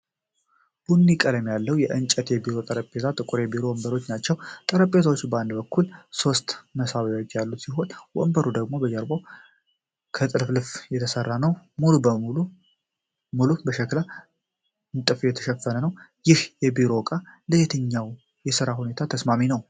ቡኒ ቀለም ያለው የእንጨት የቢሮ ጠረጴዛና ጥቁር የቢሮ ወንበር ናቸው። ጠረጴዛው በአንድ በኩል ሶስት መሳቢያዎች ያሉት ሲሆን ወንበሩ ደግሞ ጀርባው ከጥልፍልፍ የተሰራ ነው። ወለሉ በሸክላ ንጣፍ የተሸፈነ ነው። ይህ የቢሮ እቃ ለየትኛው የሥራ ሁኔታ ተስማሚ ነው?